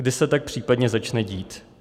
Kdy se tak případně začne dít?